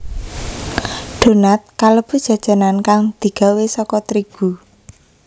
Donat kalebu jajanan kang digawé saka trigu